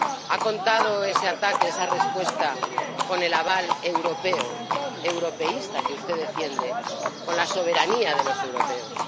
¿Ha contado ese ataque, esa respuesta, con el aval europeo —europeísta— que usted defiende, con la soberanía de los europeos?